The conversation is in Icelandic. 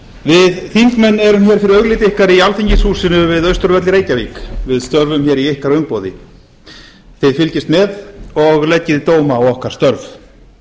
við þingmenn erum nú fyrir augliti okkar í alþingishúsinu við austurvöll í reykjavík við störfum hér í ykkar umboði þið fylgist með og leggið dóma á okkar störf